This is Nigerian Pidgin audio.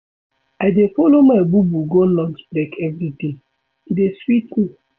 I dey folo my bobo go lunch break everyday, e dey sweet me.